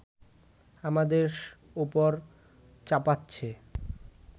আমাদের ওপর চাপাচ্ছে